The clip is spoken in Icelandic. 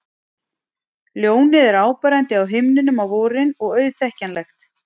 Ljónið er áberandi á himninum á vorin og auðþekkjanlegt.